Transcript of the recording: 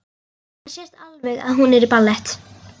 Það sést alveg að hún er í ballett.